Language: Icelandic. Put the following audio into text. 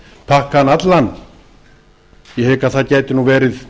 pakkann allan ég hygg að það gæti verið